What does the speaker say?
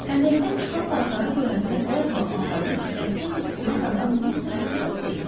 Xəndəkdən çıxan paltarı görəndə dərhal anladım ki, qətlə yetirilən adam Mr. Duqlas deyil.